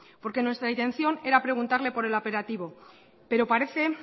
porque nuestra intención era preguntarle por el operativo pero parece